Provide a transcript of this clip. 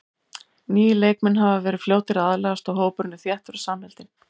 Nýir leikmenn hafa verið fljótir að aðlagast og hópurinn er þéttur og samheldinn.